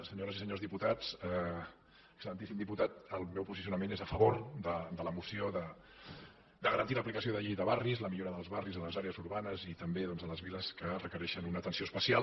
senyores i senyors diputats excel·lentíssim diputat el meu posicionament és a favor de la moció de garantir l’aplicació de la llei de barris la millora dels barris en les àrees urbanes i també doncs de les viles que requereixen una atenció especial